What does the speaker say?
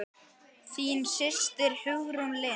Þín systir Hugrún Lind.